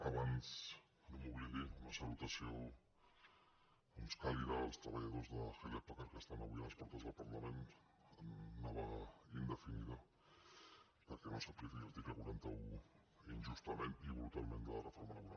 abans que no me n’oblidi una saluta·ció doncs càlida als treballadors de hewlett packard que estan avui a les portes del parlament en una vaga indefinida perquè no s’apliqui l’article quaranta un injustament i brutalment de la reforma laboral